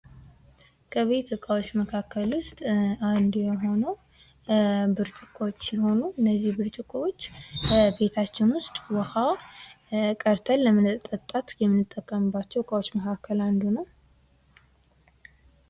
ከቤት ዕቃዎች መካከል ውስጥ አንዱ የሆነው ብርጭቆዎች ሲሆኑ እነዚህ ብርጭቆዎች ቤታችን ውስጥ ውሀ ለመጠጣት የምንጠቀምባቸው እቃዎች መካከል አንዱ ነው።